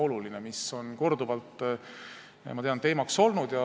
See on korduvalt, ma tean, teemaks olnud.